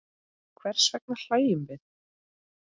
Hvers vegna hlæjum við?